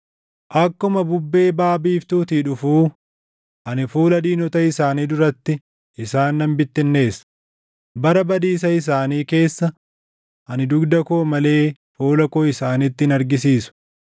Akkuma bubbee baʼa biiftuutii dhufuu, ani fuula diinota isaanii duratti isaan nan bittinneessa; bara badiisa isaanii keessa, ani dugda koo malee fuula koo isaanitti hin argisiisu.